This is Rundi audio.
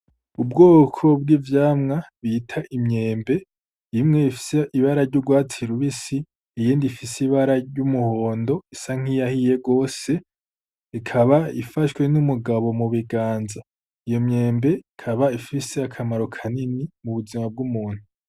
Ubwoko bw'ivyamwa bita imyembe imwe ifise ibara ry'ugwatsi rubisi iyindi ifise ibara ry'umuhondo isa niyahiye gose ikaba ifashwe n' umugabo mubiganza iyo myembe ikaba ifise akamaro kanini mubuzima bw'umuntu.